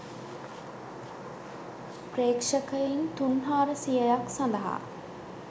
ප්‍රේක්ෂකයින් තුන් හාරසියයක් සඳහා.